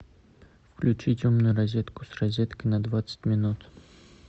включить умную розетку с розеткой на двадцать минут